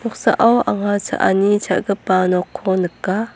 anga cha·ani cha·gipa nokko nika.